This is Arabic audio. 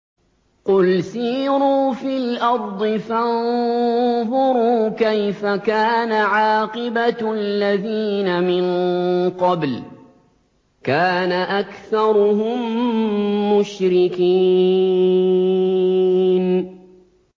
قُلْ سِيرُوا فِي الْأَرْضِ فَانظُرُوا كَيْفَ كَانَ عَاقِبَةُ الَّذِينَ مِن قَبْلُ ۚ كَانَ أَكْثَرُهُم مُّشْرِكِينَ